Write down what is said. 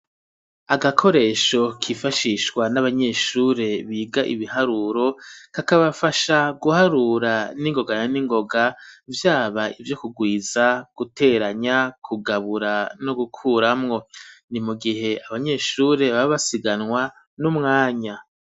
Agakoresho kifashishwa n'abanyeshure biga ibiharuro kakabafasha guharura n'ingoga na n'ingoga vyaba ivyo ku gwiza guteranya ku gabura no gukuramwo ni mugihe abanyeshuri baba basiganwa n'umwanya.